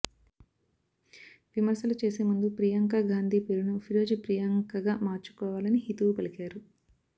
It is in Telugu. విమర్శలు చేసే ముందు ప్రియాంక గాంధీ పేరును ఫిరోజ్ ప్రియాంకగా మార్చుకోవాలని హితవు పలికారు